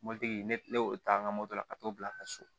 Mɔbilitigi ne ne y'o ta n ka moto la ka t'o bila ka so